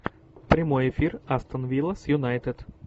прямой эфир астон вилла с юнайтед